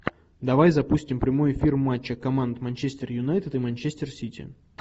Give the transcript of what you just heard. давай запустим прямой эфир матча команд манчестер юнайтед и манчестер сити